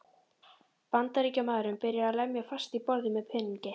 Bandaríkjamaðurinn byrjaði að lemja fast í borðið með peningi.